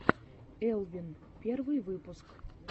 элвин первый выпуск